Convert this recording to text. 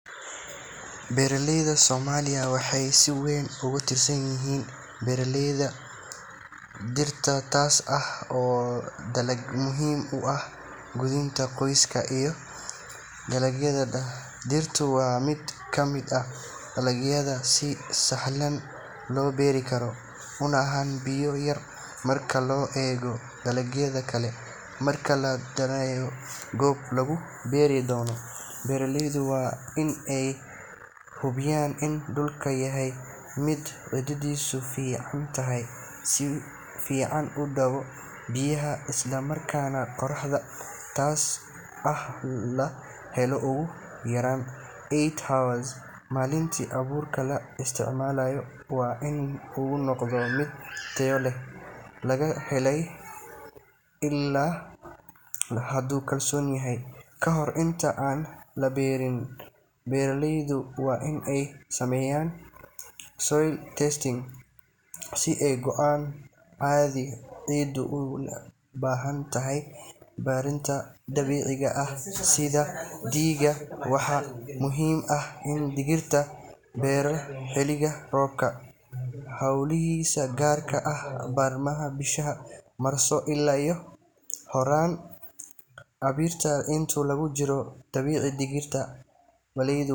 Beeralayda Soomaaliya waxay si weyn ugu tiirsan yihiin beeralayda digirta, taas oo ah dalag muhiim u ah quudinta qoysaska iyo dakhliga dhaqaalaha. Digirtu waa mid ka mid ah dalagyada si sahlan loo beeri karo, una baahan biyo yar marka loo eego dalagyada kale. Marka la dooranayo goobta lagu beeri doono, beeralaydu waa in ay hubiyaan in dhulku yahay mid ciiddiisu fiican tahay, si fiican u daadato biyaha, isla markaana qorraxda tooska ah la helo ugu yaraan eight hours maalintii. Abuurka la isticmaalayo waa in uu noqdaa mid tayo leh oo laga helay ilo lagu kalsoon yahay. Kahor inta aan la beerin, beeraleydu waa in ay sameeyaan soil testing si ay u ogaadaan hadii ciiddu u baahan tahay bacriminta dabiiciga ah sida digada xoolaha. Waxaa muhiim ah in digirta la beero xilliga roobka bilowgiisa, gaar ahaan bartamaha bisha Maarso ilaa horraanta Abriil. Inta lagu jiro kobaca digirta.